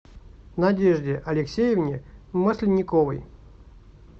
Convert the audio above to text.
надежде алексеевне масленниковой